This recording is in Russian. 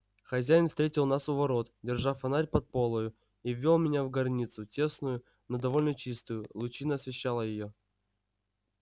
хозяин встретил нас у ворот держа фонарь под полою и ввёл меня в горницу тесную но довольно чистую лучина освещала её